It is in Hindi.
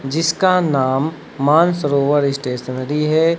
जिसका नाम मानसरोवर स्टेशनरी है।